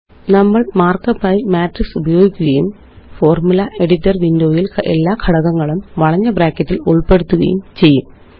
നമ്മള് മാര്ക്കപ്പായി മാട്രിക്സ് ഉപയോഗിക്കുകയുംFormula എഡിറ്റർ windowയില് എല്ലാ ഘടകങ്ങളും വളഞ്ഞ ബ്രാക്കറ്റില് ഉള്പ്പെടുത്തുകയും ചെയ്യും